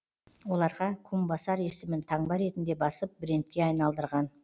оларға кумбасар есімін таңба ретінде басып брендке айналдырған